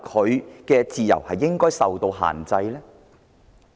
他的自由是否應該受到限制？